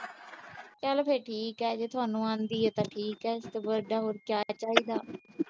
ਚਲ ਫਿਰ ਠੀਕ ਆ, ਜੇ ਤੁਹਾਨੂੰ ਆਉਂਦੀ ਆ, ਤਾਂ ਠੀਕ ਆ। ਐਦੂ ਵੱਡਾ ਹੋਰ ਕਿਆ ਚਾਹੀਦਾ।